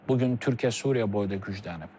Bu gün Türkiyə Suriya boyda güclənib.